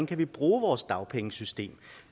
kan bruge vores dagpengesystem